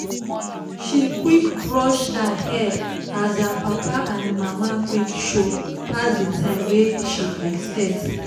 she quick brush her hair as her papa and mama quick show pass the time wey she expect